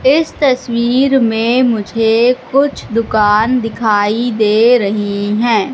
इस तस्वीर में मुझे कुछ दुकान दिखाई दे रही हैं।